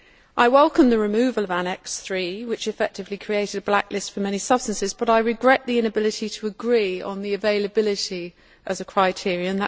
I welcome the removal of Annex III, which effectively created a blacklist for many substances, but I regret the inability to agree on the availability as a criterion.